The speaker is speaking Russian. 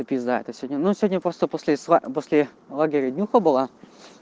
этопи это сегодня ну сегодня после после после лагеря днюха была